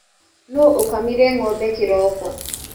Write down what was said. Nũ ũkamire ngombe kĩroko.